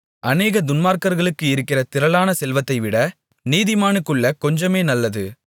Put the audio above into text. அநேக துன்மார்க்கர்களுக்கு இருக்கிற திரளான செல்வத்தைவிட நீதிமானுக்குள்ள கொஞ்சமே நல்லது